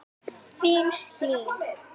Þín, Hlín.